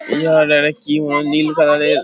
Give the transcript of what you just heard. এই জায়গাটাকে কি বলে নীল কালার -এর।